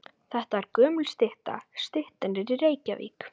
Þetta er gömul stytta. Styttan er í Reykjavík.